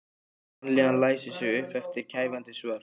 Vanlíðanin læsir sig upp eftir mér kæfandi svört.